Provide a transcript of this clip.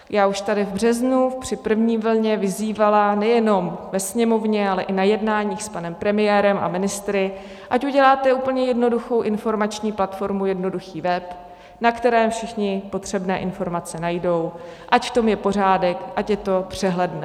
Já už tady v březnu při první vlně vyzývala nejenom ve Sněmovně, ale i na jednáních s panem premiérem a ministry, ať uděláte úplně jednoduchou informační platformu, jednoduchý web, na kterém všichni potřebné informace najdou, ať v tom je pořádek, ať je to přehledné.